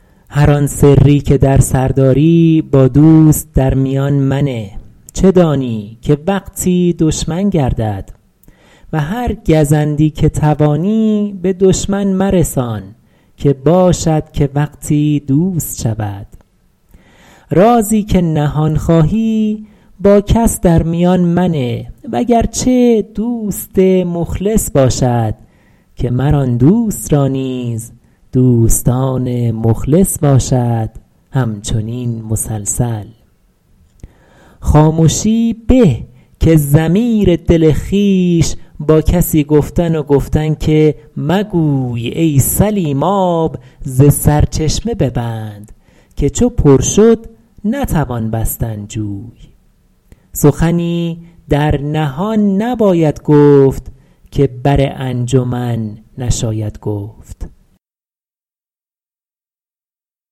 هر آن سری که در سر داری با دوست در میان منه چه دانی که وقتی دشمن گردد و هر گزندی که توانی به دشمن مرسان که باشد که وقتی دوست شود رازی که نهان خواهی با کس در میان منه وگرچه دوست مخلص باشد که مر آن دوست را نیز دوستان مخلص باشد همچنین مسلسل خامشی به که ضمیر دل خویش با کسی گفتن و گفتن که مگوی ای سلیم آب ز سرچشمه ببند که چو پر شد نتوان بستن جوی سخنی در نهان نباید گفت که بر انجمن نشاید گفت